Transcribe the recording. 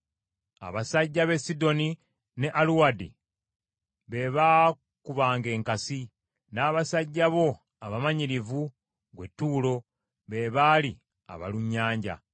Abasajja b’e Sidoni ne Aluwadi be baakubanga enkasi, n’abasajja bo abamanyirivu, ggwe Ttuulo, be baali abalunnyanja.